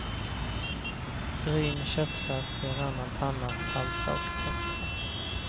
Bryn köttfärs i en annan panna, salta och peppra.